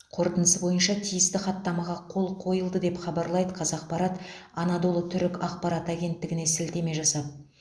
қорытындысы бойынша тиісті хаттамаға қол қойылды деп хабарлайды қазақпарат анадолы түрік ақпарат агенттігіне сілтеме жасап